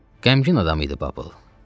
Qəmli adam idi Babıl.